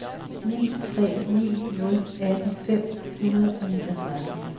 ni tre ni nul atten fem hundrede og niogtredive